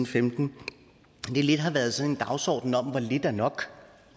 femten har været sådan en dagsorden om hvor lidt er nok